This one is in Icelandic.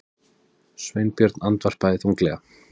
Sveinbjörn andvarpaði þunglega.